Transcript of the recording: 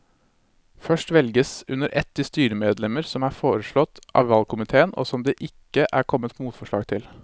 Først velges under ett de styremedlemmer som er foreslått av valgkomiteen og som det ikke er kommet motforslag til.